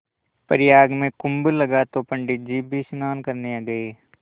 प्रयाग में कुम्भ लगा तो पंडित जी भी स्नान करने गये